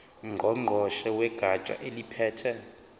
ngqongqoshe wegatsha eliphethe